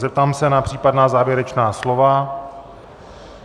Zeptám se na případná závěrečná slova.